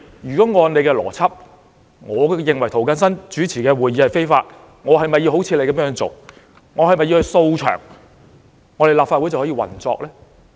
按他們的邏輯，我認為涂謹申議員主持的會議是非法的，那我是否要像他們一樣"掃場"，立法會便可以運作呢？